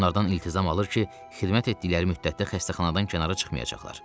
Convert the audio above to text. Onlardan iltizam alır ki, xidmət etdikləri müddətdə xəstəxanadan kənara çıxmayacaqlar.